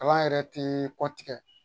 Kalan yɛrɛ te kɔtigɛ